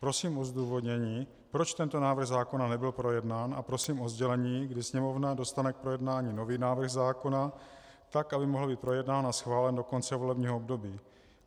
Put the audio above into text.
Prosím o zdůvodnění, proč tento návrh zákona nebyl projednán, a prosím o sdělení, kdy Sněmovna dostane k projednání nový návrh zákona tak, aby mohl být projednán a schválen do konce volebního období.